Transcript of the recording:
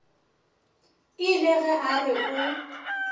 ile ge a re o